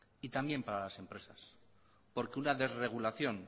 y también para las empresas porque una desregulación